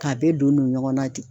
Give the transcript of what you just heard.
K'a bɛɛ don don ɲɔgɔn na ten